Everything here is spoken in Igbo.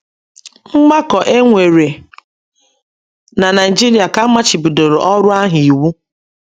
Mgbakọ e nwere na Naịjiria ka a machibidoro ọrụ ahụ iwu